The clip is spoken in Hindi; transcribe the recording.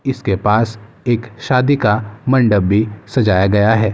इसके पास एक शादी का मंडप भी सजाया गया है।